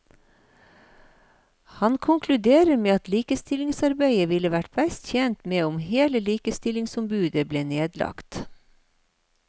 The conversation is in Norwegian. Han konkluderer med at likestillingsarbeidet ville vært best tjent med om hele likestillingsombudet ble nedlagt.